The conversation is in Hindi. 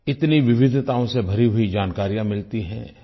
इतनी विविधताओं से भरी हुई जानकारियाँ मिलती हैं